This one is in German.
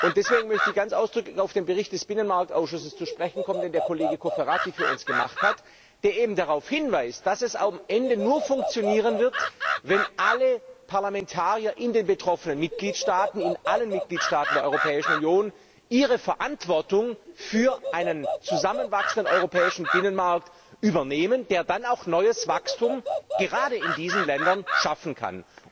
Deswegen möchte ich ganz ausdrücklich auf den Bericht des Binnenmarktausschusses zu sprechen kommen, den der Kollege Cofferati für uns gemacht hat, der eben darauf hinweist, dass es am Ende nur funktionieren wird, wenn alle Parlamentarier in den betroffenen Mitgliedstaaten, in allen Mitgliedstaaten der Europäischen Union ihre Verantwortung für einen zusammenwachsenden europäischen Binnenmarkt übernehmen, der dann auch neues Wachstum gerade in diesen Ländern schaffen kann.